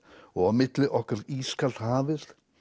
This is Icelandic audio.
og á milli okkar ískalt hafið